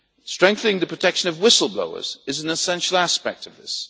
Strengthening the protection of whistle blowers is an essential aspect of this.